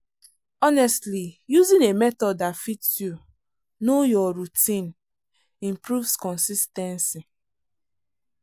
honestly using a method that fits you know your routine improves consis ten cy.